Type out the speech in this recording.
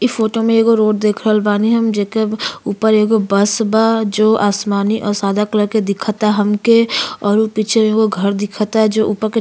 इ फोटो में एगो रोड देख रहल बानी हम जेकर ऊपर एगो बस बा जो आसमानी और सादा कलर के दिखता हमके और ऊ पीछवे एगो घर दिखता जो ऊपर के --